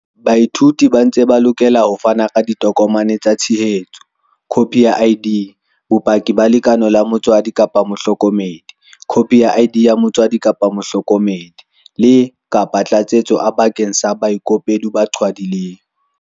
Baithuti ba ntse ba lokela ho fana ka ditokomane tsa tshehetso, khopi ya ID, bopaki ba lekeno la motswadi-mohloko medi, khopi ya ID ya motswadi-mohloko medi, le, kapa Tlatsetso A bakeng sa baikopedi ba qhwadileng.